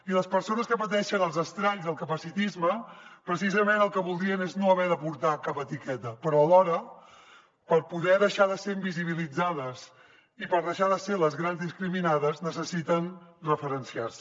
i les persones que pateixen els estralls del capacitisme precisament el que voldrien és no haver de portar cap etiqueta però alhora per poder deixar de ser invisibilitzades i per deixar de ser les grans discriminades necessiten referenciar se